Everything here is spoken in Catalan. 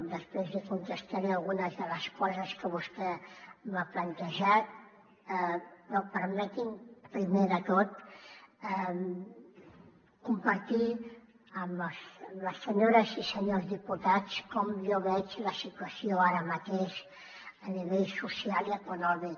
després li contestaré algunes de les coses que vostè m’ha plantejat però permeti’m primer de tot compartir amb les senyores i senyors diputats com jo veig la situació ara mateix a nivell social i econòmic